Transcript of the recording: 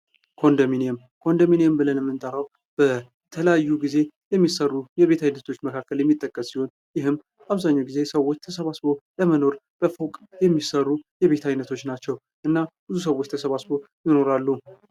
ኮንዶሚኒየም ኮንዶሚኒየም ብለን የምንጠራው በተለያዩ ጊዜ የሚሰሩ የቤት አይነቶች መካከል የሚጠቀስ ሲሆን ሰዎች ተሰባስበው ለመኖር የሚሰሩ የቤት አይነቶች ናቸው። ብዙ ሰዎች ተሰባስበው ይኖራሉ።